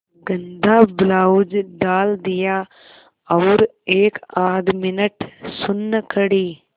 गंदा ब्लाउज डाल दिया और एकआध मिनट सुन्न खड़ी